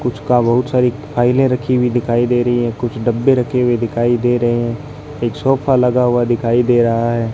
कुछ का बहुत सारी फाइलें रखी हुई दिखाई दे रही है कुछ डब्बे रखे हुए दिखाई दे रहे हैं एक सोफा लगा हुआ दिखाई दे रहा है।